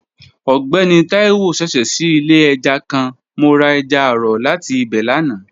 Ọgbẹni Taiwo ṣẹṣẹ ṣii ile ẹja kan, mo ra ẹja aro lati ibẹ lana.